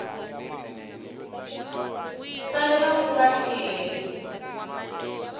tsalela ku nga si hela